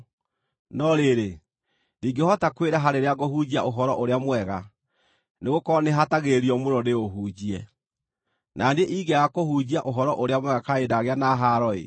No rĩrĩ, ndingĩhota kwĩraha rĩrĩa ngũhunjia Ũhoro-ũrĩa-Mwega, nĩgũkorwo nĩhatagĩrĩrio mũno ndĩũhunjie. Na niĩ ingĩaga kũhunjia Ũhoro-ũrĩa-Mwega kaĩ ndagĩa na haaro-ĩ!